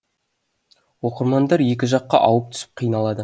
оқырмандар екі жаққа ауып түсіп қиналады